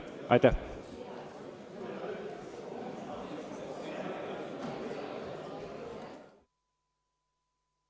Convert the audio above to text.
Aitäh!